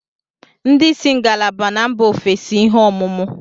Ndị isi ngalaba na mba ofesi ihe ọmụmụ